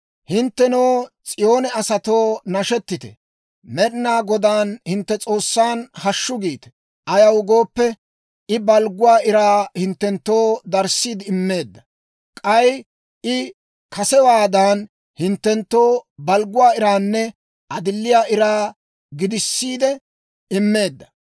Hinttenoo S'iyoone asatoo, nashetite; Med'inaa Godaan, hintte S'oossan, hashshu giite! Ayaw gooppe, I balgguwaa iraa hinttenttoo darissiide immeedda; k'ay I kasewaadan, hinttenttoo balgguwaa iraanne adilliyaa iraa gidissiide immeedda.